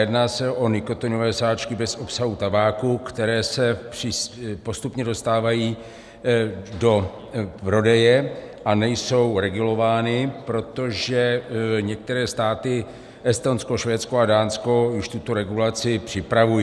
Jedná se o nikotinové sáčky bez obsahu tabáku, které se postupně dostávají do prodeje a nejsou regulovány, protože některé státy - Estonsko, Švédsko a Dánsko - už tuto regulaci připravují.